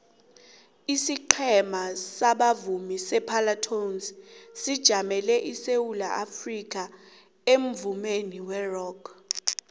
isiqhema sabavumi separlatones sijamele isewula afrikha emvumeni werock